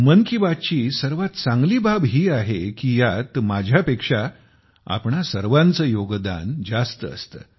मन की बात ची सर्वात चांगली बाब ही आहे की यात माझ्यापेक्षा आपणा सर्वांचे योगदान जास्त असते